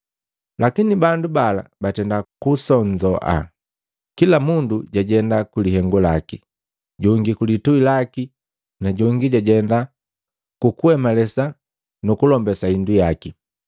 Lakini bandu bala batenda kusonzoa, kila mundu jajenda kulihengu laki, jongi kulituhi laki na jongi jajenda kukuhemalesa nukulombase hindu yaki.